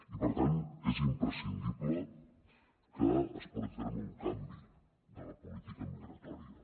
i per tant és imprescindible que es porti a terme un canvi de la política migratòria